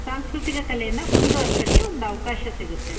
ಸಾಂಸ್ಕೃತಿಕ ಕಲೆಯನ್ನ ಮುಂದವರೆಸಕ್ಕೆ ಒಂದು ಅವಕಾಶ ಸಿಗುತ್ತೆ.